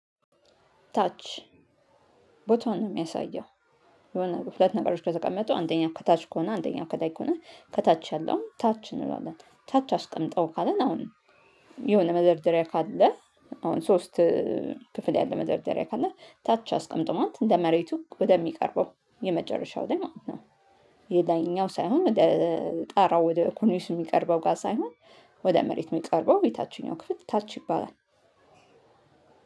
ታች ቦታውን ነው የሚያሳየው የሆነ ክፍል ነገሮች ከተቀመጡ አንደኛው ከታች ከሆነ አንደኛው ከላይ ከሆነ ከታች ያለው ታች እንላለን ታች አስቀምጠው ካለን አሁን የሆነ መደርደሪያ ካለ አሁን ሶስት ክፍል ያለ መደርደሪያ ካለ ታች አስቀምጠው ማለት እንደ መሬቱ ወደሚቀርበው የመጨረሻው ላይ ማለት ነው። የላይኛው ሳይሆን ወደ ጣራው ወደ ኮርኒሱ የሚቀርበው ጋር ሳይሆን ወደ መሬት የሚቀርበው የታችኛው ክፍል ታች ይባላል።